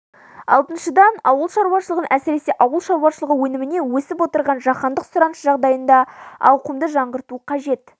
алтыншыдан ауыл шаруашылығын әсіресе ауыл шаруашылығы өніміне өсіп отырған жаһандық сұраныс жағдайында ауқымды жаңғырту қажет